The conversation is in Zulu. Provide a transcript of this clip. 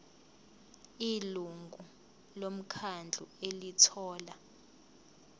ilungu lomkhandlu elithola